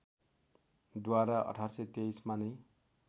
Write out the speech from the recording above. द्वारा १८२३ मा नै